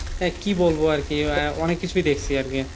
আহ কি বলব আর কি আহ অনেক কিছুই দেখছি আর কি